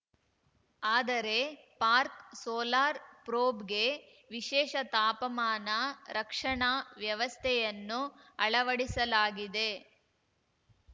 ಆದರೆ Parker solar ಪ್ರೋಬ್‌ಗೆ ವಿಶೇಷ ತಾಪಮಾನ ರಕ್ಷಣಾ ವ್ಯವಸ್ಥೆಯನ್ನು ಅಳವಡಿಸಲಾಗಿದೆ